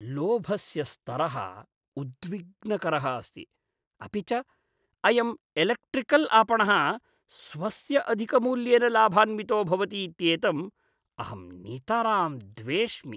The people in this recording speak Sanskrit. लोभस्य स्तरः उद्विग्नकरः अस्ति, अपि च अयम् एलेक्ट्रिकल् आपणः स्वस्य अधिकमूल्येन लाभान्वितो भवति इत्येतम् अहं नितरां द्वेष्मि।